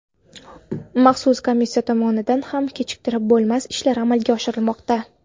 Maxsus komissiya tomonidan ham kechiktirib bo‘lmas ishlar amalga oshirilmoqda.